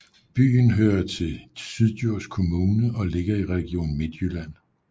Byen hører til Syddjurs Kommune og ligger i Region Midtjylland